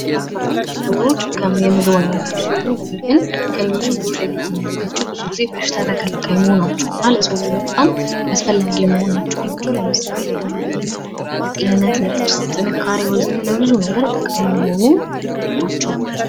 አትክልትና ፍራፍሬዎች የምግብ አይነቶች ሲሆኑ ከሌሎች ምግቦች ለየት የሚያደርጋቸው ብዙ ጊዜ በሽታ ተከላካይ መሆናቸው ነው ።ለሰው ልጆች በጣም አስፈላጊ ናቸው ።ለምሳሌ፡-ለጥርስ ጥንካሬ ፣ለጤንነት በጣም ጥሩ ናቸው።